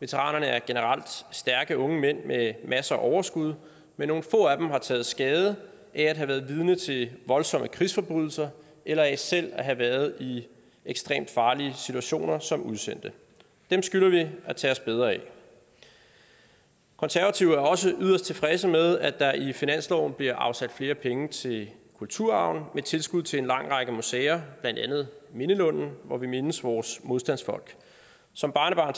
veteranerne er generelt stærke unge mænd med masser af overskud men nogle få af dem har taget skade af at have været vidne til voldsomme krigsforbrydelser eller af selv at have været i ekstremt farlige situationer som udsendte dem skylder vi at tage os bedre af konservative er også yderst tilfredse med at der i finansloven bliver afsat flere penge til kulturarven med tilskud til en lang række museer blandt andet mindelunden hvor vi mindes vores modstandsfolk som barnebarn